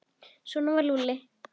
Svona var Lúlli.